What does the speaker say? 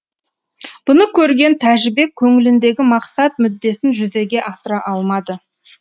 бұны көрген тәжібек көңіліндегі мақсат мүддесін жүзеге асыра алмады